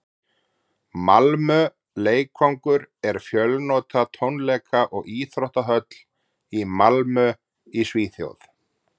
malmö leikvangur er fjölnota tónleika og íþróttahöll í malmö í svíþjóð